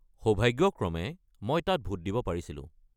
সৌভাগ্যক্ৰমে, মই তাত ভোট দিব পাৰিছিলোঁ।